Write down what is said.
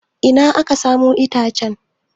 Ina aka samo itacen?